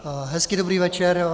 Hezký dobrý večer.